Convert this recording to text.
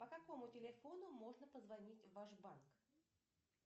по какому телефону можно позвонить в ваш банк